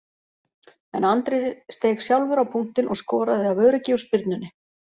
En Andri steig sjálfur á punktinn og skoraði af öryggi úr spyrnunni.